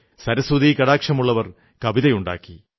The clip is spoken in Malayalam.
സരസ്വതീകടാക്ഷമുള്ളവർ കവിതയുണ്ടാക്കി